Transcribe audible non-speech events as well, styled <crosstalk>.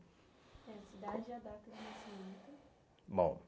e a Cidade e a data de nascimento. <sighs> Bom